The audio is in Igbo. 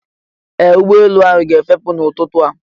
Ee! Ụgbọelu ahụ ga-efepụ n'ụtụtụ a.